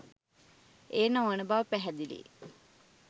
එය නොවන බව පැහැදිලියි.